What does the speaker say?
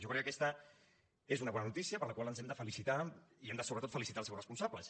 jo crec que aquesta és una bona notícia per la qual ens hem de felicitar i hem de sobretot felicitar als seus responsables